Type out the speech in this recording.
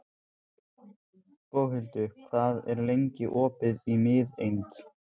Boghildur, hvað er lengi opið í Miðeind?